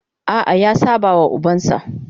A'a, ya saba wa ubansa.